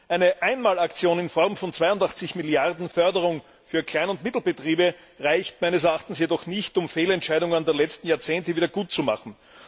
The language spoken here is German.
Eine Einmalaktion in Form von zweiundachtzig Milliarden Euro Förderung für Klein und Mittelbetriebe reicht meines Erachtens jedoch nicht, um Fehlentscheidungen der letzten Jahrzehnte wiedergutzumachen.